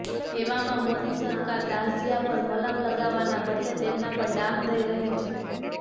એવામાં મોદી સરકાર દાઝ્યા પર મલમ લગાવવાના બદલે તેમના પર ડામ દઈ રહી છે